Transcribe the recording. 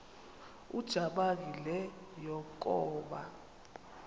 ujamangi le yakoba